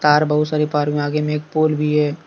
Car बहुत सारी park में आगे में एक पोल भी है।